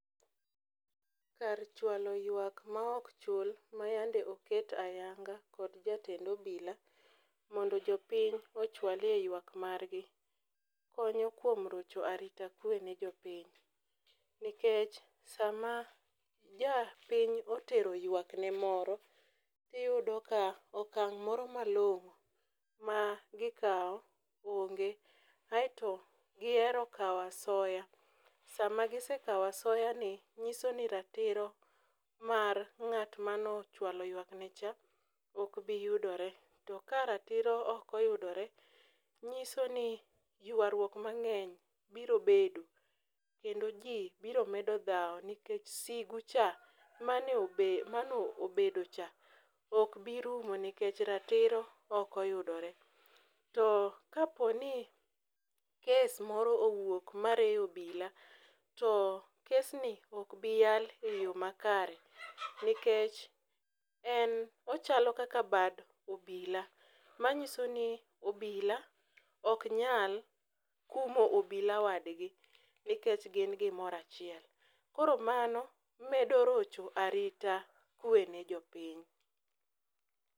Kar chwalo ywak maok chul mayande oket ayanga kod jatend obila mondo jopiny ochwalye yuak margi konyo kuom rocho arita kwe ne jopiny, nikech sama japiny otero ywakne moro, iyudo ka okang' moro malong'o magikawo onge aeto giero kawo asoya sama gisekawo asoyani, ng'iso ni ratiro mar ng'at manochwalo ywakne cha okbiyudore to ka ratiro okoyudore, nyiso ni ywaruak mang'eny biro bedo kendo ji biro medo dhawo nikech sigu cha manobedocha okbirumo nikech ratiro okoyudore, to kaponi kes moro owuok mariwo obila to kesni okbiyal e yo makare nikech en ochalo kaka bad obila manyiso ni obila oknyal kumo obila wadgi nikech gin gimoro achiel, koro mano medo rocho arita kwe ne jopiny.